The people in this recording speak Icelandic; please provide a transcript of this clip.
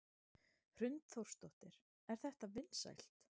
Hrund Þórsdóttir: Er þetta vinsælt?